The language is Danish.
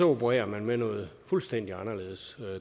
opererer med noget fuldstændig anderledes